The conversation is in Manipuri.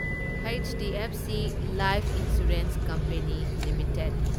HDFC life insurance company limited